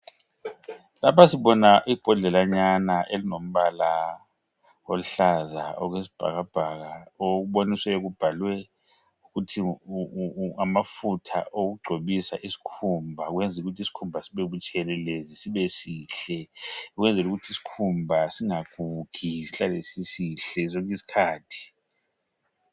Lapha sibona ibhodlalanyana elilombala oluhlaza okwesibhakabhaka okuboniswe kubhalwe ukuthi ngamafutha okugcobisa isikhumba ukwenzela ukuthi isikhumba sibebutshelelezi sibe sihle. Ukwenzela ukuthi isikhumba singagugi sihlale sisihle sonke isikhathi.